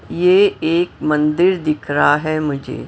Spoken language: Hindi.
यह एक मंदिर दिख रहा है मुझे।